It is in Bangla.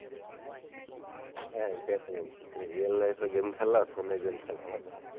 সে তো অবশ্যই সেই real life এ গেম খেলা ফোনে গেম খেলা আলাদা,